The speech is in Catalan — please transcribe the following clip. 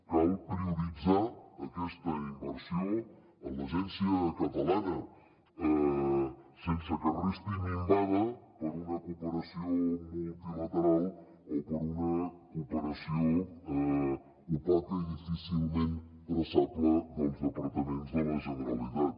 cal prioritzar aquesta inversió en l’agència catalana sense que resti minvada per una cooperació multilateral o per una cooperació opaca i difícilment traçable dels departaments de la generalitat